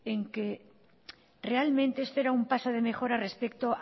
en que realmente este era un paso de mejora respecto